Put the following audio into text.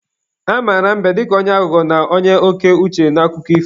A mara mbe dịka onye aghụghọ na onye oke uche n'akụkọ ifo.